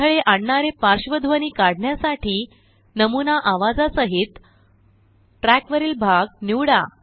अडथळे आणणारे पार्श्वध्वनी काढण्यासाठी नमुना आवाजासहीत ट्रयाकवरील भाग निवडा